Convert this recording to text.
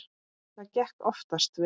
Það gekk oftast vel.